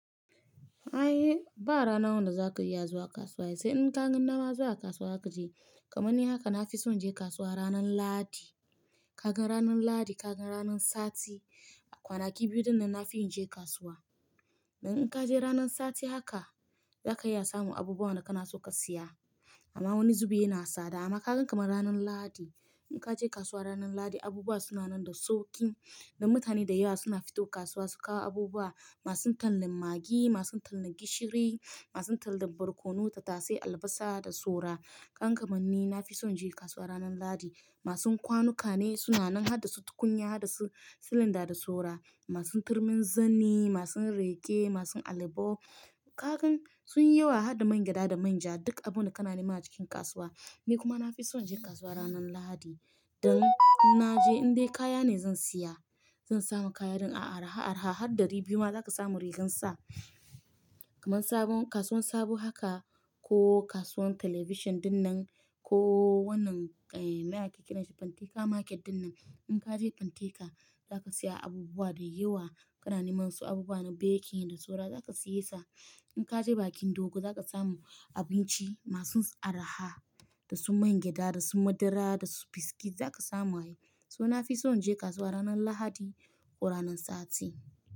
Ai ba rana wanda zaka iya zuwa kasuwa sai in ka gan daman zuwa kasuwa kaje. Kamanni haka na fi son je kasuwa ranan lahadi. Ka gan ranan lahadi, ka gan ranan sati. Kwanaki biyu dinnan na fi yin je kasuwa. Dan in kaje ranan sati haka zaka iya samun abubuwan da kana son ka siya. Amma wani zubi yana sada. Ama kagan kamar ranan lahadi, in kaje kasuwa ranan lahadi abubuwa suna nan da sauki. Da mutane da yawa suna fito kasuwa su kawo abubuwa. Masu tallan maggi, masun tallan gishiri, masun tallan barkono da tattasai, albasa da saura. Kagan kamanni na fi son je kasuwa ranan lahadi. Masun kwanuka ne suna nan hada su tukunya, hada su silinda da sara. Masun turmin zani, masun reke, masun alibo. Kagan sun yi yawa hada man gyada da manja. Duk abun da kana nema a cikin kasuwa. Ni kuma na fi son je kasuwa ranan lahadi. Dan na je indai kaya ne zan siya. Zan samu kaya dan a araha, araha har ɗari biyu ma zaka samu riginsa. Kamman sabon kasuwan sabo haka ko kasuwan television dinnan ko wannan eh mana ke ƙiranshi Pantika Market dinnan. In kaje Panteka zaka siya abubuwa da yawa. Kana nimawansu abubuwa na baking da saura zaka siye sa. In kaje bakin dogo zaka samu abinci masun araha da su man gyada, da su madara, da su biskit zaka samu ayi. So na fi son je kasuwa ranan lahadi ko ranan sati.